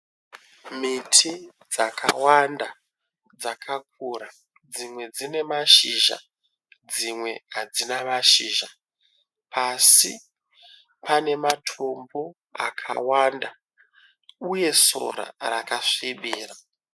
Miti dzakawanda dzakakura dzimwe dzine mashizha dzimwe hadzina mashizha. Pasi pane matombo akawanda uye sora rakasvibira.